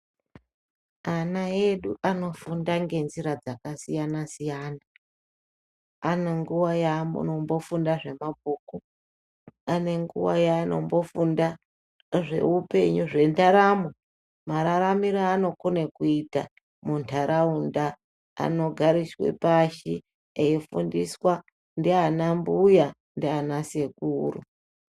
Ana edu anofunda ngenzira dzakasiyana-siyana. Ane nguwa yaanombofunda zvemabhuku, ane nguwa yaanombofunda zveupenyu, zvendaramo, mararamiro evanokone kuita muntaraunda anogarirwa pashi eifundiswa ndiana mbuya, ndiana sekuru.